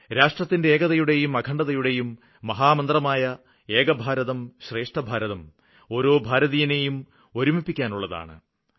രാഷ്ട്രത്തിന്റെ ഏകതയുടെയും അഖണ്ഡതയുടെയും മഹാമന്ത്രമായ ഏക ഭാരതം ശ്രേഷ്ഠ ഭാരതം ഓരോ ഭാരതീയനേയും ഒരുമിപ്പിക്കുവാനുള്ളതാണ്